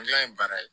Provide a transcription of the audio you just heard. Gilan ye baara ye